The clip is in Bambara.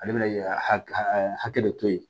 Ale bɛna hakili hakɛ de to yen